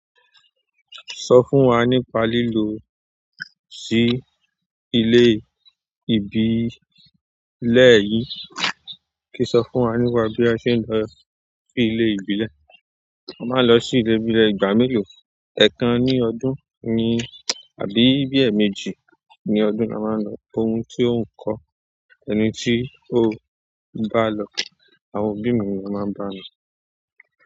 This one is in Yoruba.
Sọ fún wa nípa lilọ si ile ìbílẹ̀ yin. Kí n sọ fún wa nípa bí a ṣe ń lọ sí ilé ìbílẹ̀. A máa ń lọ sí ilé ìbílẹ̀ ìgbà mélòó, ẹ̀ẹ̀kan ní ọdún ni àbí bí ẹ̀ẹ̀mejì ní ọdún ni a máa ń lọ. Òun tí ó ń kọ, ẹni tí ó bá lọ, àwọn òbí mi ni ó máa ń bá mi lọ.